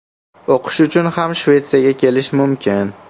O‘qish uchun ham Shvetsiyaga kelish mumkin.